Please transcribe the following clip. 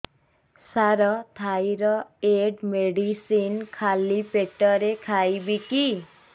ସାର thyroid medicine ଖାଲି ପେଟରେ ଖାଇବି କି